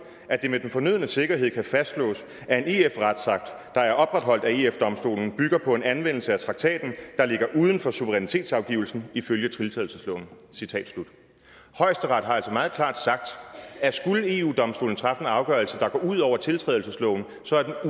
at det med den fornødne sikkerhed kan fastslås at en ef retsakt der er opretholdt af ef domstolen bygger på en anvendelse af traktaten der ligger uden for suverænitetsafgivelsen ifølge tiltrædelsesloven højesteret har altså meget klart sagt at skulle eu domstolen træffe en afgørelse der går ud over tiltrædelsesloven så er